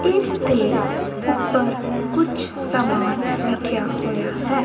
ਇਸ ਦੇ ਉੱਪਰ ਕੁਛ ਸਮਾਨ ਰੱਖਿਆ ਹੋਇਆ ਹੈ।